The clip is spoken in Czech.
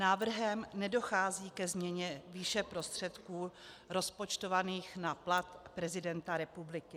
Návrhem nedochází ke změně výše prostředků rozpočtovaných na plat prezidenta republiky.